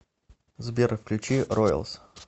сбер включи роялс